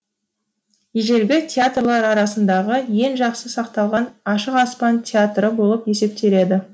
ежелгі театрлар арасындағы ең жақсы сақталған ашық аспан театры болып есептеледі